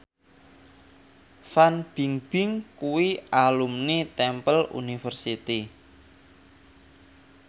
Fan Bingbing kuwi alumni Temple University